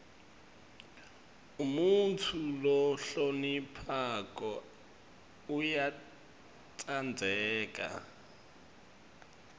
umuntfu lohloniphako uyatsandzeka